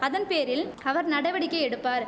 அதன் பேரில் அவர் நடவடிக்கை எடுப்பார்